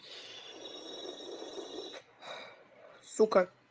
сука